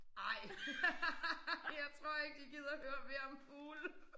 Ej jeg tror ikke jeg gider høre mere om fugle